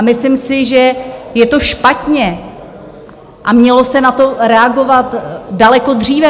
A myslím si, že je to špatně a mělo se na to reagovat daleko dříve.